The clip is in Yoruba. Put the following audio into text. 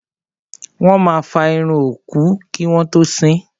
Wọ́n máa fá irun òkú kí wọ́n tó sín.